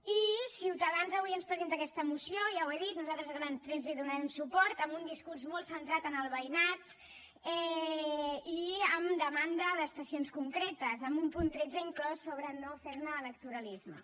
i ciutadans avui ens presenta aquesta moció ja ho he dit nosaltres a grans trets hi donarem suport amb un discurs molt centrat en el veïnat i amb demanda d’estacions concretes amb un punt tretze inclòs sobre no fer ne electoralisme